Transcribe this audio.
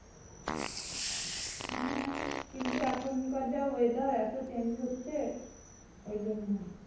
হ্যাঁ, কিন্তু এখন যা weather এত change হচ্ছে ওই জন্যে।